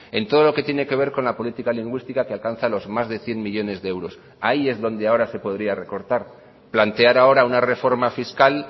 en todo lo que tiene que ver con la política lingüística que alcanza los más de cien millónes de euros ahí es donde ahora se podría recortar plantear ahora una reforma fiscal